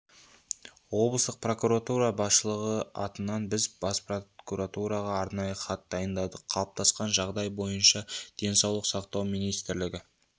облыстық прокуратура басшылығы атынан біз бас прокуратураға арнайы хат дайындадық қалыптасқан жағдай бойынша денсаулық сақтау министрлігі